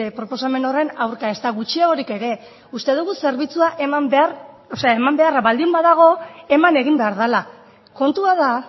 proposamen horren aurka ezta gutxiagorik ere uste dugu zerbitzua eman beharra baldin badago eman egin behar dela kontua da